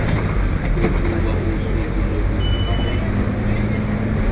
kokuba usuku lokuvivinywa